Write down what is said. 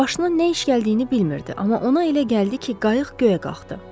Başının nə iş gəldiyini bilmirdi, amma ona elə gəldi ki, qayıq göyə qalxdı.